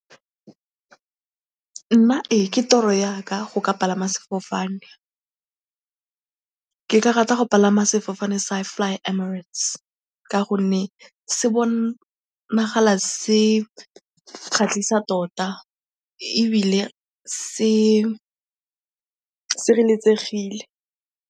Nna ee, ke toro ya ka go ka palama sefofane. Ke ka rata go palama sefofane sa Fly Emirates ka gonne se bonagala se kgatlisa tota ebile se sireletsegile.